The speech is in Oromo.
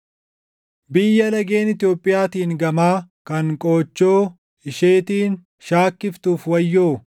Biyya lageen Itoophiyaatiin gamaa kan qoochoo isheetiin shaakkiftuuf wayyoo;